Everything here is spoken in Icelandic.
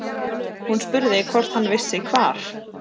Hún spurði hvort hann vissi hvar